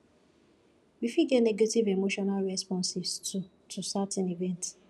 we fit get negative emotional responses too to certain events